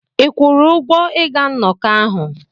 Ị kwụrụ ụgwọ ịga nnọkọ ahụ?